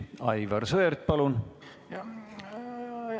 Aivar Sõerd, palun!